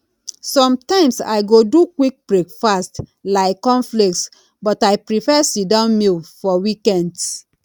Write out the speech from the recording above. sometimes i go do quick breakfast like cornflakes but i prefer sitdown meal for weekends